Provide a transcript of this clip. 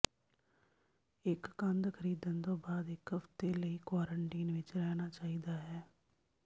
ਇੱਕ ਕੰਦ ਖਰੀਦਣ ਤੋਂ ਬਾਅਦ ਇੱਕ ਹਫ਼ਤੇ ਲਈ ਕੁਆਰੰਟੀਨ ਵਿੱਚ ਰਹਿਣਾ ਚਾਹੀਦਾ ਹੈ